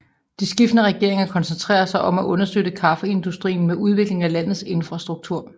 De skiftende regeringer koncentrerede sig om at understøtte kaffeindustrien med udviklingen af landets infrastruktur